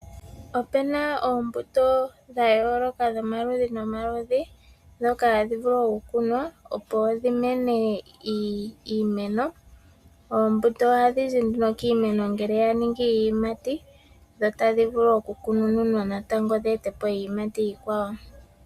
Opuna oombuto dha yooloka dhomaludhi nomaludhi, ndhoka hadhi vulu oku kunwa opo dhi mene iimeno. Oombuto ohadhi zi nduno kiimeno ngele ya ningi iiyimati, dho otadhi vulu oku kunununwa natango dhi ete po iiyimati iikwawo.